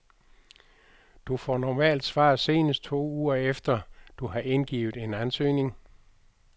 Du får normalt svar senest to uger efter, du har indgivet en ansøgning.